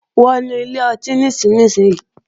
Wọnú ilé ọtí nísinsìnyí!